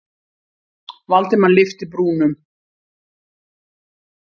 Valdimar lyfti brúnum.